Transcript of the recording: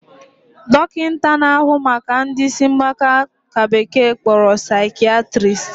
Dokinta na ahu Maka ndi isi mgbaka ka bekee kporo 'Psychiatrist'